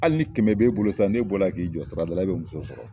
Ali ni kɛmɛ be bolo sisan ne bɔra k'i jɔ sirada la i be muso sɔrɔ